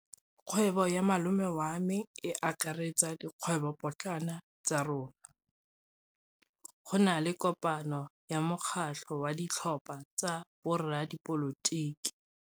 Kgwêbô ya malome wa me e akaretsa dikgwêbôpotlana tsa rona. Go na le kopanô ya mokgatlhô wa ditlhopha tsa boradipolotiki.